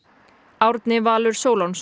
Árni Valur